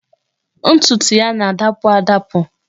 Ntutu ya na-adapụ adapụ